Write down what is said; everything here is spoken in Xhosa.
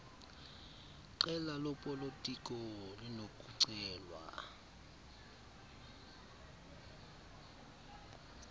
qela lopolitiko linokucelwa